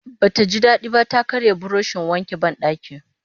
Ba ta ji daɗi ba ta karya burushin wankin banɗaki